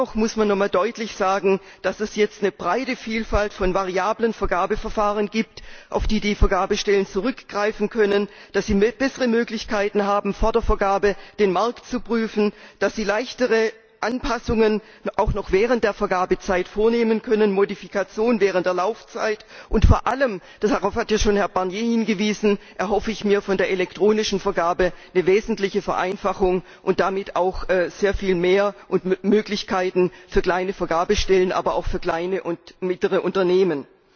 Dennoch muss man noch einmal deutlich sagen, dass es jetzt eine breite Vielfalt von variablen Vergabeverfahren gibt, auf die die Vergabestellen zurückgreifen können, dass sie bessere Möglichkeiten haben, vor der Vergabe den Markt zu prüfen, dass sie leichtere Anpassungen auch noch während der Vergabezeit vornehmen können, Modifikationen während der Laufzeit. Vor allem darauf hat ja schon Herr Barnier hingewiesen erhoffe ich mir von der elektronischen Vergabe eine wesentliche Vereinfachung und damit auch sehr viel mehr Möglichkeiten für kleine Vergabestellen, aber auch für kleine und mittlere Unternehmen.